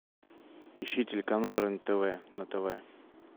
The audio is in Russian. ищи телеканал рен тв на тв